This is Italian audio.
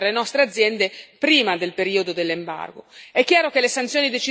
rilevante per le nostre aziende prima del periodo dell'embargo.